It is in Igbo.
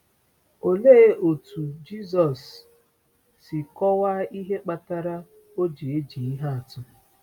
Olee otú Jisọs si kọwaa ihe kpatara o ji eji ihe atụ?